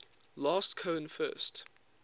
last cohen first